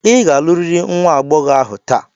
Ị ga-alụrịrị nwa agbọghọ ahụ taa!